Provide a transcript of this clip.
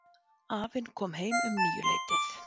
Afinn kom heim um níuleytið.